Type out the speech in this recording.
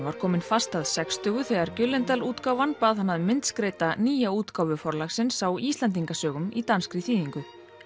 var kominn fast að sextugu þegar útgáfan bað hann að myndskreyta nýja útgáfu Forlagsins á Íslendingasögum í danskri þýðingu